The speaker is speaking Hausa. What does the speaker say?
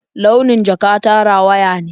Launin jaka ta rawaya ne.